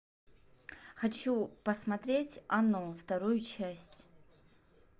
хочу посмотреть оно вторую часть